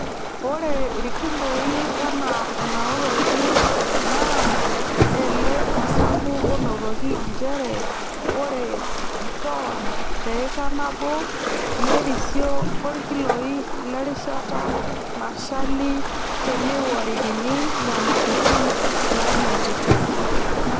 Ore irkiloi enaa enanotoki naa ele osabu onotoki nchere ore toon teika nabo nerisio orkilooi lerishata nashali teineworikini nyamalitin naanotito.